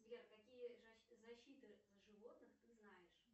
сбер какие защиты животных ты знаешь